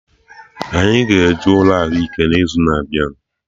Anyị a-ga eje ụlọ ahụike n'izuna abịa?